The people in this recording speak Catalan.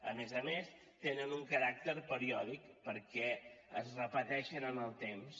a més a més tenen un caràcter periòdic perquè es repeteixen en el temps